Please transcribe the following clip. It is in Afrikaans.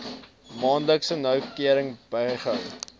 maandeliks noukeurig bygehou